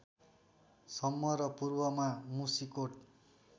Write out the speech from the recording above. सम्म र पूर्वमा मुसिकोट